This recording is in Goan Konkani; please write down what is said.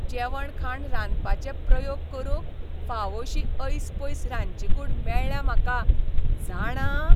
जेवणखाण रांदपाचे प्रयोग करूंक फावोशी ऐसपैस रांदचीकूड मेळ्ळ्या म्हाका, जाणा?